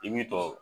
I b'i tɔ